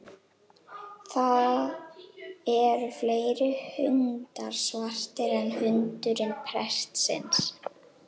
Það eru fleiri hundar svartir en hundurinn prestsins.